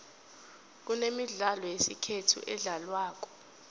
kunemidlalo yesikhethu edlalwako